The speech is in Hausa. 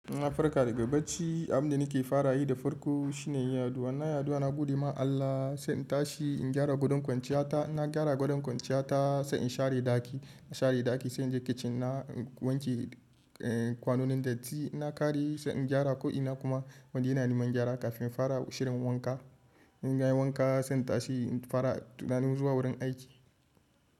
Na farka daga bacci, abin da nake fara yi da farko shine yin addu'a. Na yi addu'a, na godiya ma Allah, sai in tashi in gyara gadon kwanciya ta. Na gyara gadon kwanciya ta sai in share ɗaki. Na share ɗaki, sai in je kicin na, in wanke kwanonin datti na kare sai in gyara ko ina kuma wanda yana neman gyara kafin in fara shirin wanka. In nayi wanka sai in tashi in fara tunanin zuwa wurin aiki.